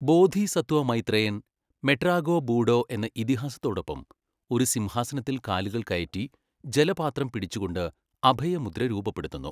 ബോധിസത്വ മൈത്രേയൻ, മെട്രാഗോ ബൂഡോ എന്ന ഇതിഹാസത്തോടൊപ്പം, ഒരു സിംഹാസനത്തിൽ കാലുകൾ കയറ്റി, ജലപാത്രം പിടിച്ച്കൊണ്ട്, അഭയ മുദ്ര രൂപപ്പെടുത്തുന്നു.